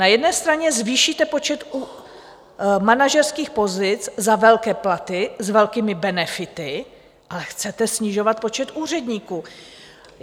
Na jedné straně zvýšíte počet manažerských pozic za velké platy s velkými benefity, ale chcete snižovat počet úředníků!